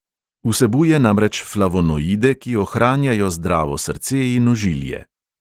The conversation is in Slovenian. Vsebuje namreč flavonoide, ki ohranjajo zdravo srce in ožilje.